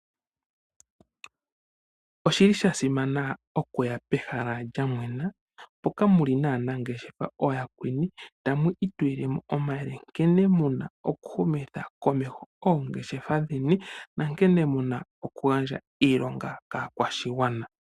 Oshi li sha simana oku ya pehala lya mwena, mpoka mu li naanangeshefa ooyakweni tamu itu li lemo omayele, nkene muna oku humitha komeho oongeshefa dheni, na nkene muna oku gandja iilonga kaakwashigwana.